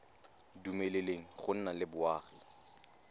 dumeleleng go nna le boagi